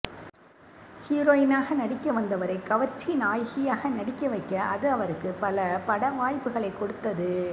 ஹீரோயினாக நடிக்க வந்தவரை கவர்ச்சி நாயகியாக நடிக்க வைக்க அது அவருக்கு பல பட வாய்ப்புகளை கொடுத்தது